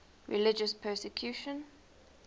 religious persecution